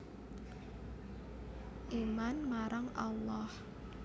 Iman marang Allah